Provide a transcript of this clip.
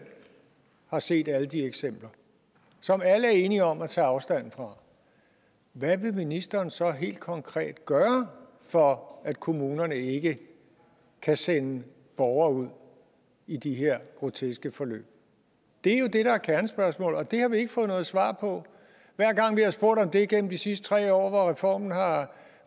har set alle de eksempler som alle er enige om at tage afstand fra hvad vil ministeren så helt konkret gøre for at kommunerne ikke kan sende borgere ud i de her groteske forløb det er jo det der er kernespørgsmålet og det har vi ikke fået noget svar på hver gang vi har spurgt om det igennem de sidste tre år reformen har